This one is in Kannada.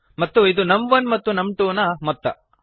ಮತ್ತು ಇದು ನಮ್1 ಮತ್ತು ನಮ್2 ನ ಮೊತ್ತ